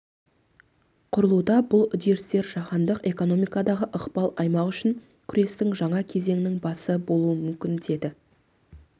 құрылуда бұл үдерістер жаһандық экономикадағы ықпал аймағы үшін күрестің жаңа кезеңінің басы болуы мүмкін деді